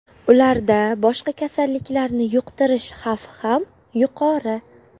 Ularda boshqa kasalliklarni yuqtirish xavfi ham yuqori.